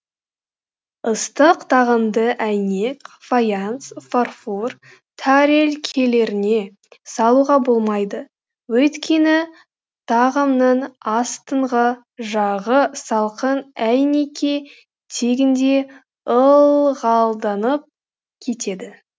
ыстық тағамды әйнек фаянс фарфор тәрелкелеріне салуға болмайды өйткені тағамның астыңғы жағы салқын әйнекке тигенде ылғалданып кетеді